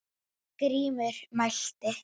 Það hefði borgin gert.